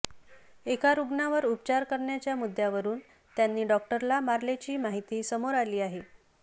एका रुग्णावर उपचार करण्याच्या मुद्द्यावरुन त्यांनी डॉक्टरला मारल्याची माहिती समोर आली आहे